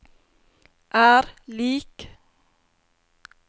er lik